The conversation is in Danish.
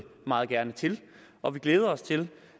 meget gerne til og vi glæder os til